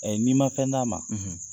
n'i ma fɛn d'a ma